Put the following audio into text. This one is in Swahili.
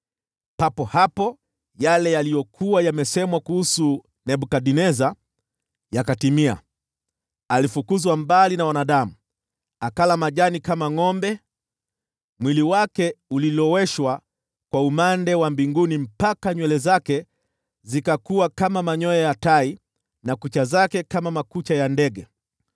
Papo hapo yale yaliyokuwa yamesemwa kuhusu Nebukadneza yakatimia. Alifukuzwa mbali na wanadamu, akala majani kama ngʼombe. Mwili wake uliloweshwa kwa umande wa mbinguni mpaka nywele zake zikakua kama manyoya ya tai na kucha zake kama makucha ya ndege.